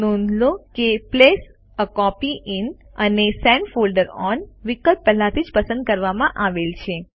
નોંધ લો કે પ્લેસ એ કોપી ઇન અને સેન્ટ ફોલ્ડર ઓન વિકલ્પ પહેલાથી જ પસંદ કરવામાં આવેલ છે